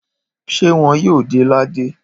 Ṣé wọ́n yóò de ládé?